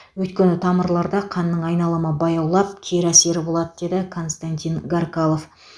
өйткені тамырларда қанның айналымы баяулап кері әсері болады деді константин гаркалов